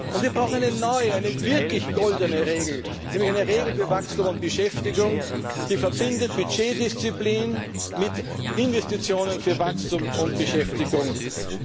Und wir brauchen eine neue, wirklich goldene Regel, nämlich eine Regel für Wachstum und Beschäftigung, die Budgetdisziplin mit Investitionen für Wachstum und Beschäftigung verbindet.